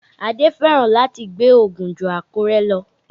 Adé fẹ́ràn láti gbé Ògùn ju Àkúrẹ́ lọ